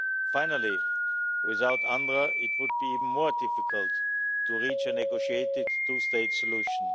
Finally, without UNRWA it would be even more difficult to reach a negotiated two state solution.